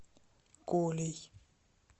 колей